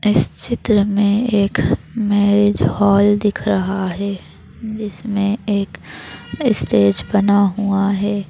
इस चित्र में एक मैरिज हॉल दिख रहा है जिसमें एक स्टेज बना हुआ है।